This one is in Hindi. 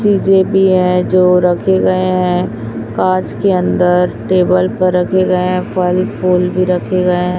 चीजें भी है जो रखे गए हैं कांच के अंदर टेबल पर रखे गए फल फूल भी रखेगा गये हैं।